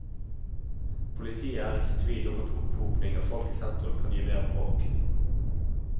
Politiet er ikke i tvil om at opphopning av folk i sentrum kan gi mer bråk.